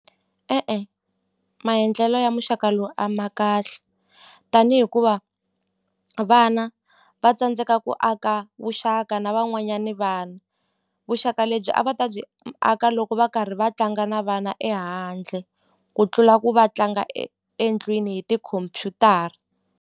E-e, maendlelo ya muxaka lowu a ma kahle tani hikuva vana va tsandzeka ku aka vuxaka na van'wanyani vana vuxaka lebyi a va ta byi aka loko va karhi va tlanga na vana ehandle ku tlula ku va tlanga endlwini hi tikhompyutara.